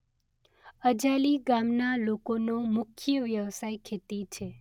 અજાલી ગામના લોકોનો મુખ્ય વ્યવસાય ખેતી છે.